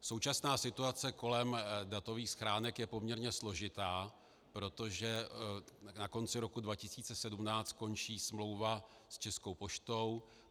Současná situace kolem datových schránek je poměrně složitá, protože na konci roku 2017 končí smlouvy s Českou poštou.